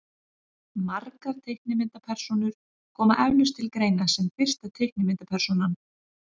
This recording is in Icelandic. margar teiknimyndapersónur koma eflaust til greina sem fyrsta teiknimyndapersónan